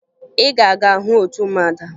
Ị ga-aga hụ otu ụmụada!